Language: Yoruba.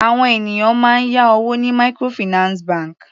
Àwọn ènìyàn máa ń yá owó ní microfinance bank.